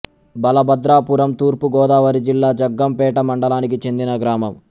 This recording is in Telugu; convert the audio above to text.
బలభద్రాపురం తూర్పు గోదావరి జిల్లా జగ్గంపేట మండలానికి చెందిన గ్రామం